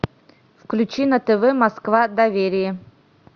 включи на тв москва доверие